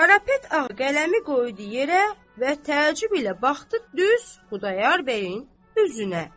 Karapet ağ qələmi qoydu yerə və təəccüblə baxdı düz Xudayar bəyin üzünə.